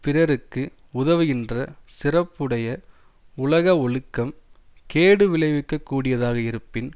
பிறருக்கு உதவுகின்ற சிறப்புடைய உலக ஒழுக்கம் கேடு விளைவிக்க கூடியதாக இருப்பின்